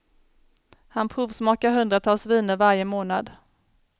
Han provsmakar hundratals viner varje månad.